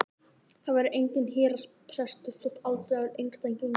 Það verður enginn héraðsbrestur þótt aldraður einstæðingur sofni burt.